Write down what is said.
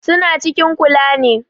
Su na cikin kula ne